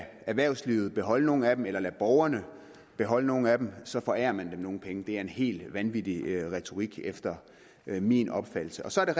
erhvervslivet beholde nogle af dem eller lader borgerne beholde nogle af dem så forærer man dem nogle penge det er en helt vanvittig retorik efter min opfattelse så er